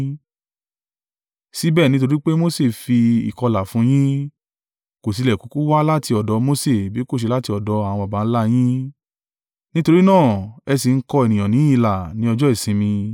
Síbẹ̀, nítorí pé Mose fi ìkọlà fún yín (kò tilẹ̀ kúkú wá láti ọ̀dọ̀ Mose bí kò ṣe láti ọ̀dọ̀ àwọn baba ńlá yín); nítorí náà ẹ sì ń kọ ènìyàn ní ilà ní ọjọ́ ìsinmi.